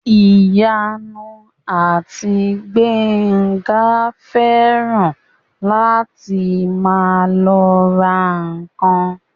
Ìyanu àti Gbénga fẹ́ràn láti máa lọ ra ǹkan